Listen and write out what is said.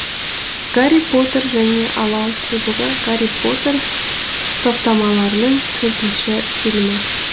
гарри поттер және алау кубогы гарри поттер топтамаларының төртінші фильмі